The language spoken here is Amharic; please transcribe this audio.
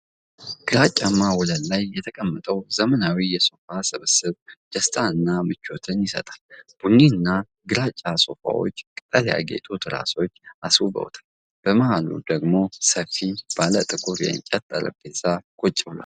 ግራጫማ ወለል ላይ የተቀመጠው ዘመናዊ የሶፋ ስብስብ ደስታንና ምቾትን ይሰጣል። ቡኒና ግራጫ ሶፋዎቹን ቅጠል ያጌጡ ትራሶች አስውበውታል። በመሃሉ ላይ ደግሞ ሰፊ፣ ባለ ጥቁር የእንጨት ጠረጴዛ ቁጭ ብሏል።